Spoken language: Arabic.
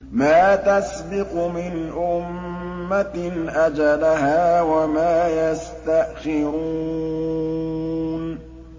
مَا تَسْبِقُ مِنْ أُمَّةٍ أَجَلَهَا وَمَا يَسْتَأْخِرُونَ